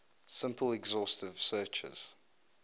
simple exhaustive searches